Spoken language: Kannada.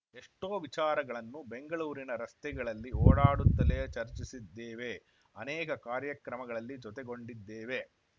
ಎಷ್ಟೋ ವಿಚಾರಗಳನ್ನು ಬೆಂಗಳೂರಿನ ರಸ್ತೆಗಳಲ್ಲಿ ಓಡಾಡುತ್ತಲೇ ಚರ್ಚಿಸಿದ್ದೇವೆ ಅನೇಕ ಕಾರ್ಯಕ್ರಮಗಳಲ್ಲಿ ಜೊತೆಗೊಂಡಿದ್ದೇವೆ